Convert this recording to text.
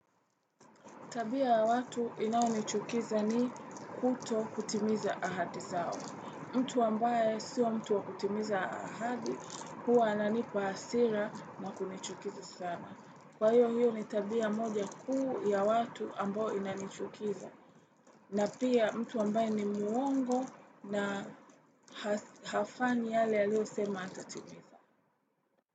Tabia ya watu inaonichukiza ni kuto kutimiza ahadi zao. Mtu ambaye sio mtu wa kutimiza ahadi, huwa ananipa hasira na kunichukiza sana. Kwa hiyo hio ni tabia moja kuu ya watu ambao inanichukiza. Na pia mtu ambaye ni muongo na hafanyi yale aliyo sema atatimiza.